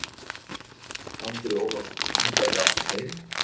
Andri Ólafsson: Hún gæti átt við fleiri?